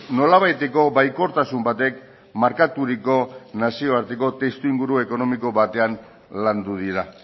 nolabaiteko baikortasun batek markaturiko nazioarteko testuinguru ekonomiko batean landu dira